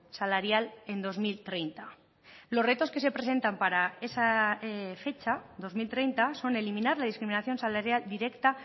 salarial en dos mil treinta los retos que se presentan para esa fecha dos mil treinta son eliminar la discriminación salarial directa